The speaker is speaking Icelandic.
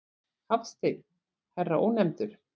Hafstein, herra Ónefndur.